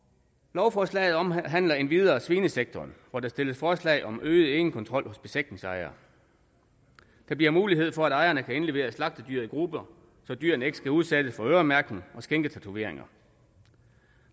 lovforslaget omhandler endvidere svinesektoren hvor der stilles forslag om øget egenkontrol hos besætningsejere der bliver mulighed for at ejerne kan indlevere slagtedyr i grupper så dyrene ikke skal udsættes for øremærkning og skinketatoveringer